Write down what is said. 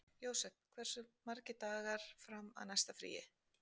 Jósep, hversu margir dagar fram að næsta fríi?